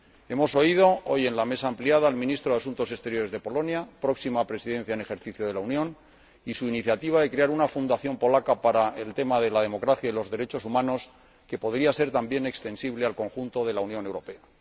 Hemos escuchado hoy, en la Mesa ampliada, al Ministro de Asuntos Exteriores de Polonia, próxima Presidencia en ejercicio de la Unión, y su iniciativa de crear una fundación polaca para el tema de la democracia y los derechos humanos, que podría ser también extensible al conjunto de la Unión Europea.